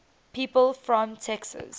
people from texas